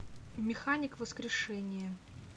механик воскрешение